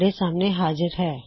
ਸਾਡੇ ਨਾਲ ਜੁੜਨ ਲਈ ਧੰਨਵਾਦ